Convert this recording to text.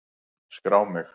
Skrá mig!